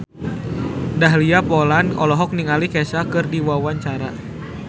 Dahlia Poland olohok ningali Kesha keur diwawancara